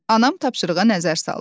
Anam tapşırığa nəzər saldı.